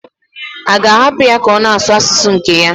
A ga-ahapụ ya ka ọ na-asụ asụsụ nke ya?